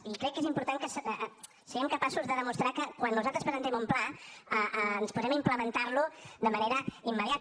i crec que és important que siguem capaços de demostrar que quan nosaltres presentem un pla ens posem a implementar lo de manera immediata